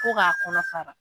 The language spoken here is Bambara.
Ko k'a kɔnɔ fara.